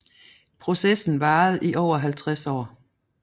Processen varede i over 50 år